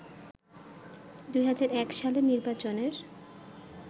২০০১ সালের নির্বাচনের